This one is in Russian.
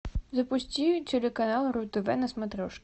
запусти телеканал ру тв на смотрешке